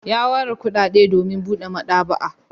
Ya ware kuɗaɗe domin buɗe maɗaba'a.